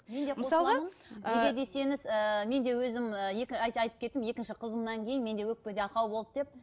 неге десеңіз ііі мен де өзім ііі айтып кеттім екінші қызымнан кейін менде өкпеде ақау болды деп